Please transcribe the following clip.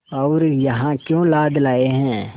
और यहाँ क्यों लाद लाए हैं